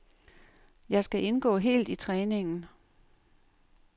Jeg skal indgå helt i træningen.